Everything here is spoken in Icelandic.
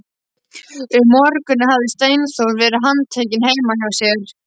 Um morguninn hafði Steindór verið handtekinn heima hjá sér.